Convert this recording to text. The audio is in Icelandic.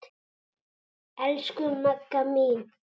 Elsku Magga mín.